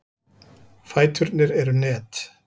Fæturnir eru net.